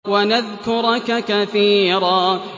وَنَذْكُرَكَ كَثِيرًا